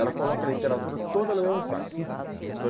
Ela coloca a literatura toda no mesmo saco, então